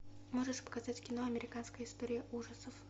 можешь показать кино американская история ужасов